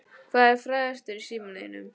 Hver er frægastur í símanum þínum?